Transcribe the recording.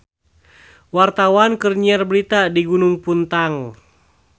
Wartawan keur nyiar berita di Gunung Puntang